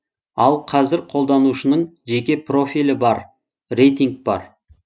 ал қазір қолданушының жеке профилі бар рейтинг бар